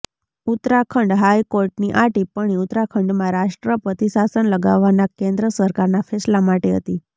Uttarakhand high કોર્ટની આ ટિપ્પણી ઉત્તરાખંડમાં રાષ્ટ્રપતિ શાસન લગાવવાના કેન્દ્ર સરકારનાં ફેંસલા માટે હતી